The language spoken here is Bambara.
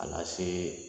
A lase